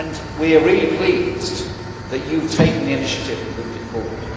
We are really pleased that you have taken the initiative to move it forward.